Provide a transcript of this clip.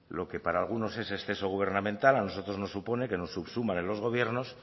lo que para algunos es exceso gubernamental a nosotros nos supone que nos subsuman en los gobiernos